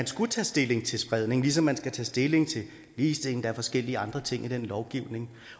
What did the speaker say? skulle tage stilling til spredning ligesom man skal tage stilling til ligestilling og forskellige andre ting i den lovgivning